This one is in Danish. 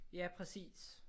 Ja præcis